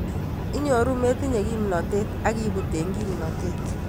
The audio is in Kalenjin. Inyoru metinye kimnotet ak ibut eng kimnotet.